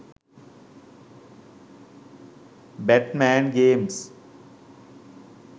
bat man games